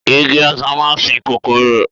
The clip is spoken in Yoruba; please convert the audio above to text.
Igi Ọ̀sán máa ń sìn kòkòrò